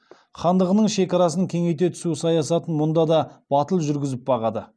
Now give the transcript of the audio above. хандығының шекарасын кеңейте түсу саясатын мұнда да батыл жүргізіп бағады